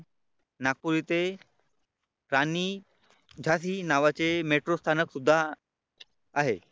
नागपूर येथे राणी झाशी नावाचे मेट्रो स्थानक सुद्धा आहे.